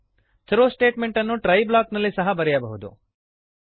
throw ಸ್ಟೇಟಮೆಂಟನ್ನು try block ನಲ್ಲಿ ಸಹ ಬರೆಯಬಹುದು